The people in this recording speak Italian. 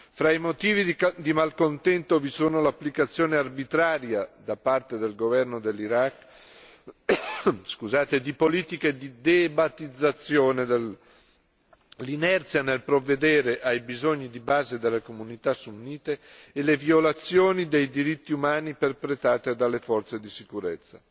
Fra i motivi di malcontento vi sono l'applicazione arbitraria, da parte del governo dell'Iraq, di politiche di deba'thizzazione, l'inerzia nel provvedere ai bisogni di base delle comunità sunnite e le violazioni dei diritti umani perpetrate dalle forze di sicurezza.